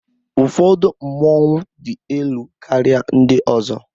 Ụfọdụ mmọnwu dị elu karịa ndị ọzọ